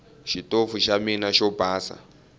xitofu xa mina xo basa